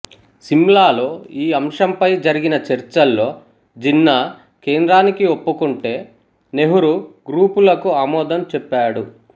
సిమ్లాలో ఈ అంశంపై జరిగిన చర్చల్లో జిన్నా కేంద్రానికి ఒప్పుకుంటే నెహ్రూ గ్రూపులకు ఆమోదం చెప్పాడు